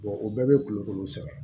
o bɛɛ bɛ kulukoro sɛgɛn